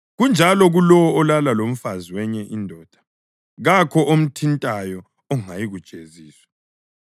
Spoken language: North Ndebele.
Kunjalo kulowo olala lomfazi wenye indoda; kakho omthintayo ongayikujeziswa.